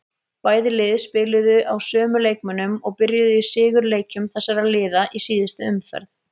Bæði lið spiluðu á sömu leikmönnum og byrjuðu í sigurleikjum þessara liða í síðustu umferð.